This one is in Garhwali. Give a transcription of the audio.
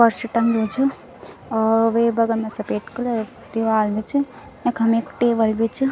पर्स टंगयूँ च और वे बगल मा सपेद कलर दीवाल भी च यखम एक टेबल भी च।